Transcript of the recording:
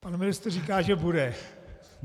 Pan ministr říká, že bude.